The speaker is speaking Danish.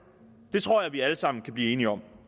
det tror jeg vi alle sammen kan blive enige om